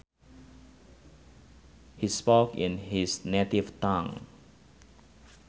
He spoke in his native tongue